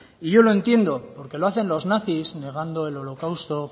y yo lo entiendo porque lo hacen los nazis negando el holocausto